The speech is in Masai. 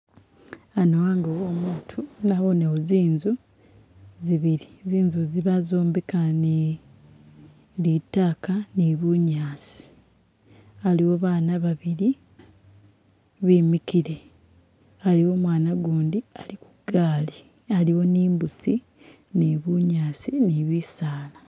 Ano ango wo'omutu nabonewo zinzu zibili, zinzu zi bazombeka ni litaka ni bunyaasi, aliwo bana babili bimikile, aliwo mwana gundi ali kugaali aliwo ni imbusi ni bunyaasi ni bisaala.